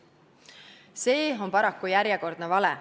" See on paraku järjekordne vale.